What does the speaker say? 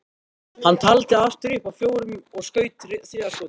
Hann taldi aftur upp að fjórum og skaut þriðja skotinu.